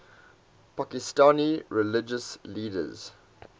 pakistani religious leaders